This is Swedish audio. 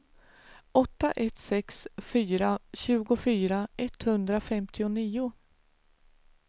åtta ett sex fyra tjugofyra etthundrafemtionio